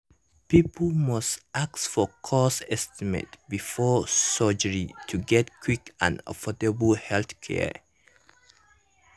people must ask for cost estimate before surgery to get quick and affordable healthcare.